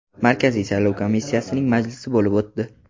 Markaziy saylov komissiyasining majlisi bo‘lib o‘tdi.